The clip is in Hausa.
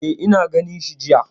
E, na ganshi jiya.